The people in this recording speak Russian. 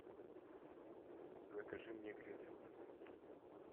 закажи мне гринфилд